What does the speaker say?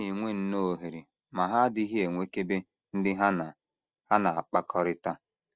Ha na - enwe nnọọ ohere ma ha adịghị enwekebe ndị ha na ha na - akpakọrịta. ”